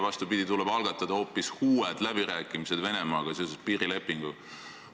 Vastupidi, tuleb algatada hoopis uued läbirääkimised Venemaaga seoses piirilepinguga.